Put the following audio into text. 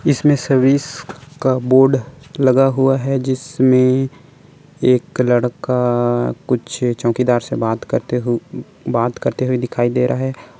इसमें सर्विस का बोर्ड लगा हुआ है जिसमें एक लड़का कुछ चौकीदार से बात करते हुए बात करते हुए दिखाई दे रहा है।